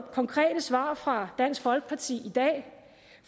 konkrete svar fra dansk folkeparti i dag